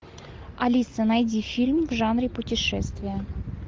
алиса найди фильм в жанре путешествие